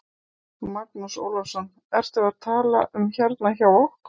Magnús Ólafsson: Ertu að tala um hérna hjá okkur?